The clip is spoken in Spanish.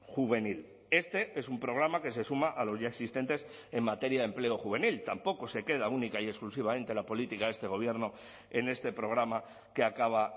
juvenil este es un programa que se suma a los ya existentes en materia de empleo juvenil tampoco se queda única y exclusivamente la política de este gobierno en este programa que acaba